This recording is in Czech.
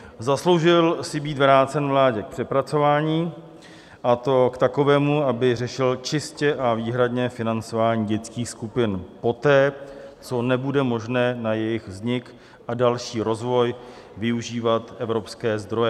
Zasloužil si být vrácen vládě k přepracování, a to k takovému, aby řešil čistě a výhradně financování dětských skupin poté, co nebude možné na jejich vznik a další rozvoj využívat evropské zdroje.